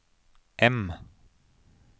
M